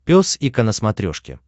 пес и ко на смотрешке